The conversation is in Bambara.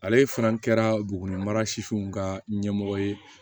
Ale fana kɛra buguni mara sifinw ka ɲɛmɔgɔ ye